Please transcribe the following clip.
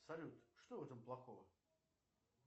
салют что в этом плохого